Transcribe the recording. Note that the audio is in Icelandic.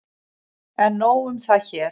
En nóg um það hér.